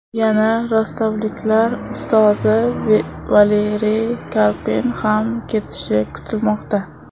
Yana rostovliklar ustozi Valeriy Karpin ham ketishi kutilmoqda.